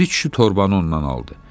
Piri kişi torbanı ondan aldı.